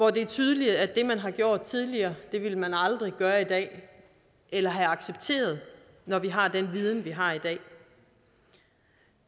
er tydeligt at det man har gjort tidligere ville man aldrig gøre i dag eller acceptere når vi har den viden vi har i dag